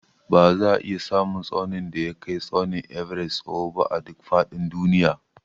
Ba za a iya samun tsaunin da ya kai tsaunin Everest tsawo ba a duk faɗin duniya